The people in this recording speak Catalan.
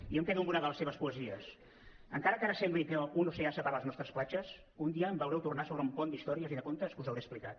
jo em quedo amb una de les seves poesies encara que ara sembli que un oceà separa les nostres platges un dia em veureu tornar sobre un pont d’històries i de contes que us hauré explicat